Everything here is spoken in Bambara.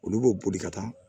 Olu b'o boli ka taa